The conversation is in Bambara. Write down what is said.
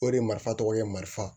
O de marifa tɔgɔ ye marifa